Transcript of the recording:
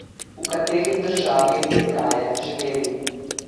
V kateri državi bi raje živeli?